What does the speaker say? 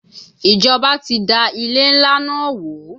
Ìjọba ti da ilé ńlá náà wó.